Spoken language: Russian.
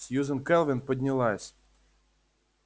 сьюзен кэлвин поднялась